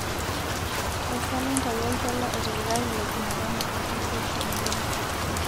tapasali ntayu oltuala otipikaki lejumatano oji tooshoembira